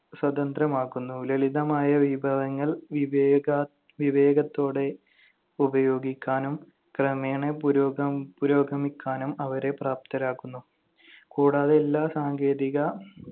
സ്വതന്ത്രമാക്കുന്നു. ലളിതമായ വിഭവങ്ങൾ വിവേക~ വിവേകത്തോടെ ഉപയോഗിക്കാനും ക്രമേണ പുരോഗ~ പുരോഗമിക്കാനും അവരെ പ്രാപ്തരാക്കുന്നു. കൂടാതെ എല്ലാ സാങ്കേതിക